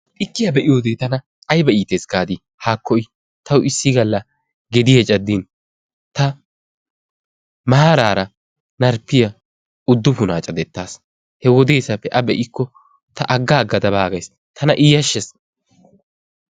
tikkiyaa be'iyoode tana aybba iittees gaadi haakko i taw issi galla gediyaa caddin ta maarara marppiya udupuna caddetaas. he wodessappe a be''ikko ta agga aggada baagays tana i yashshees.